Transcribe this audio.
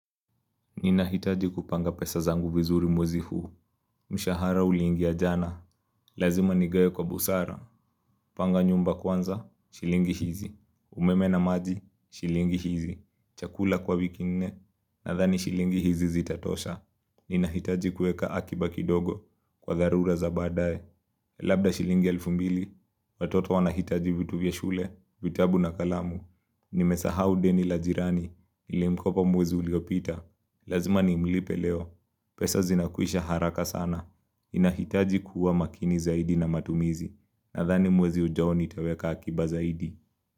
Ninahitaji kupanga pesa zangu vizuri mwezi huu, mshahara ulingia jana, lazima nigawe kwa busara, panga nyumba kwanza, shilingi hizi, umeme na maji, shilingi hizi, chakula kwa wiki nne, nadhani shilingi hizi zitatosha. Ninahitaji kueka akiba kidogo kwa dharura za baadae Labda shilingi elfu mbili Watoto wanahitaji vitu vya shule, vitabu na kalamu Nimesahau deni la jirani nilimkopa mwezi uliopita Lazima nimlipe leo pesa zinakwisha haraka sana Ninahitaji kuwa makini zaidi na matumizi Nadhani mwezi ujao nitaweka akiba zaidi.